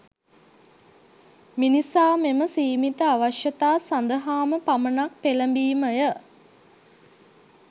මිනිසා මෙම සීමිත අවශ්‍යතා සඳහාම පමණක් පෙළඹීමය